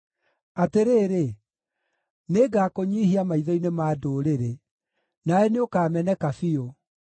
“Atĩrĩrĩ, nĩngakũnyiihia maitho-inĩ ma ndũrĩrĩ; nawe nĩũkameneka biũ.